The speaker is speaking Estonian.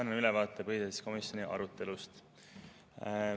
Annan ülevaate põhiseaduskomisjoni arutelust.